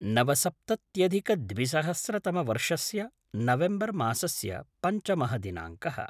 नवसप्तत्यधिकद्विसहस्रतमवर्षस्य नवेम्बर् मासस्य पञ्चमः दिनाङ्कः